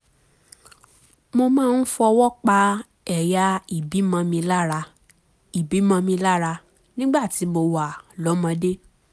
mo máa ń fọwọ́ pa ẹ̀yà ìbímọ mi lára ìbímọ mi lára nígbà tí mo wà lọ́mọdé